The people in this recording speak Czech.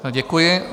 Děkuji.